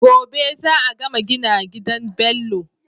Gobe za a gama gina gidan Bello